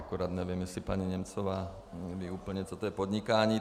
Akorát nevím, jestli paní Němcová ví úplně, co je to podnikání.